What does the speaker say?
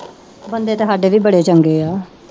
ਬੰਦੇ ਤਾਂ ਸਾਡੇ ਵੀ ਬੜੇ ਚੰਗੇ ਆ।